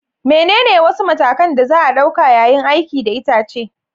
Menene wasu matakan da za a ɗauka yayin aiki da itace?